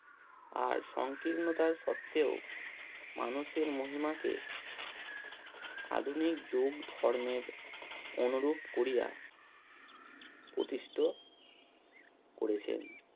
আর সংকীর্ণতার সত্ত্বেও মানুষের মহিমাকে আধুনিক যুগ ধর্মের অনুরূপ করিয়া প্রতিষ্ঠ করেছেন।